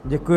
Děkuji.